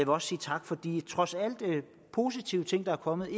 også sige tak for de trods alt positive ting der er kommet